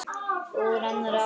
Og úr annarri átt.